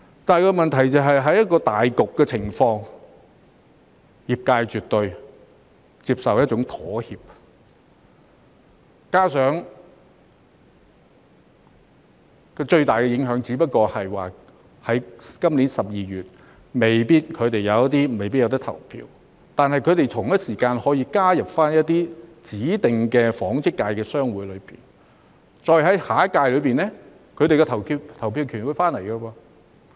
但問題是，在考慮到大局的情況下，業界絕對接受一種妥協，加上最大的影響只不過是他們有些人在今年12月未必可以投票，但同一時間，他們可以加入一些指定的紡織界商會，然後在下一屆時，他們便重新獲得投票權。